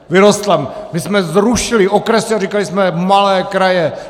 My jsme zrušili okresy a říkali jsme malé kraje.